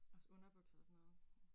Også underbukser og sådan noget